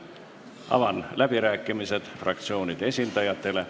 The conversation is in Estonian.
Avan läbirääkimised fraktsioonide esindajatele.